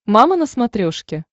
мама на смотрешке